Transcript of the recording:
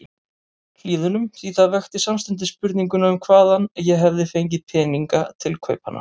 Hlíðunum, því það vekti samstundis spurninguna um hvaðan ég hefði fengið peninga til kaupanna.